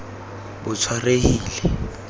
botshwarehile